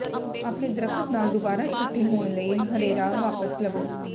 ਆਪਣੇ ਦਰੱਖਤ ਨਾਲ ਦੁਬਾਰਾ ਇਕੱਠੇ ਹੋਣ ਲਈ ਹਰੇਰਾ ਵਾਪਸ ਲਵੋ